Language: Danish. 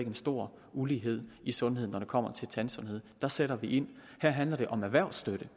en stor ulighed i sundhed altså når det kommer til tandsundhed der sætter vi ind her handler det om erhvervsstøtte